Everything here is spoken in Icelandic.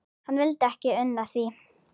Hann vildi ekki una því.